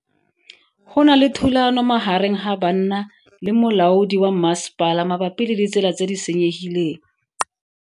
Go na le thulano magareng ga banna le molaodi wa masepala mabapi le ditsela tse di senyegileng.